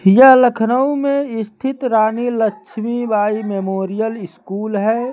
यह लखनऊ में स्थित रानी लक्ष्मीबाई मेमोरियल स्कूल है।